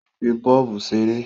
Ó ń fi bọ́ọ̀bù ṣeré